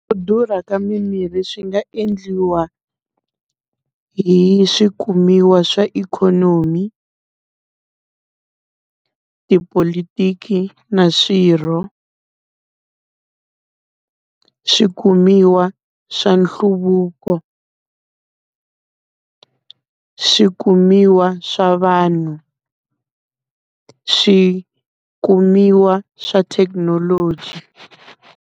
Ku durha ka mimirhi swi nga endliwa, hi swikumiwa swa ikhonomi, tipolotiki na swirho. Swikumiwa swa nhluvuko, swikumiwa swa vanhu, swikumiwa swa thekinoloji.